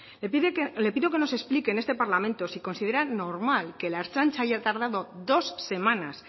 le pido que nos explique en este parlamento si considera normal que la ertzaintza haya tardado dos semanas